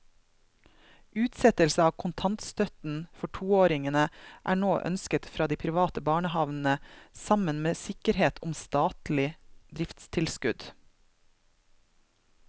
Utsettelse av kontantstøtten for toåringene er nå ønsket fra de private barnehavene sammen med sikkerhet om statlig driftstilskudd.